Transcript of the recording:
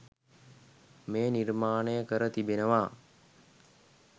මෙය නිර්මාණය කර තිබෙනවා.